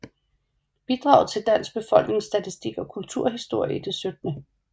Bidrag til Dansk Befolkningsstatistik og Kulturhistorie i det 17